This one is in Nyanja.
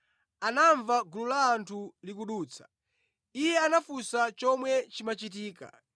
anamva gulu la anthu likudutsa. Iye anafunsa chomwe chimachitika.